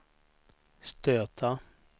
stöta